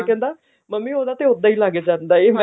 ਕਹਿੰਦਾ ਮੰਮੀ ਉਹਦਾ ਤਾਂ ਉੱਦਾਂ ਹੀ ਲੱਗ ਜਾਂਦਾ ਹੈ